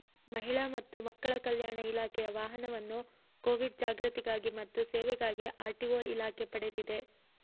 ಮಹಿಳಾ ಮತ್ತು ಮಕ್ಕಳ ಕಲ್ಯಾಣ ಇಲಾಖೆಯ ವಾಹನವನ್ನು ಕೋವಿಡ್ ಜಾಗೃತಿಗಾಗಿ ಮತ್ತು ಸೇವೆಗಾಗಿ ಆರ್ಟಿಒ ಇಲಾಖೆ ಪಡೆದಿದೆ